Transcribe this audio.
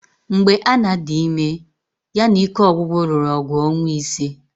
Mgbe Anna dị ime, ya na ike ọgwụgwụ lụrụ ọgụ ọnwa ịse